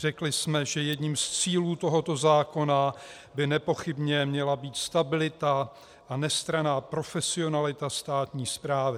Řekli jsme, že jedním z cílů tohoto zákona by nepochybně měla být stabilita a nestranná profesionalita státní správy.